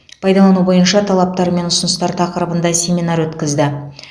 пайдалану бойынша талаптар мен ұсыныстар тақырыбында семинар өткізді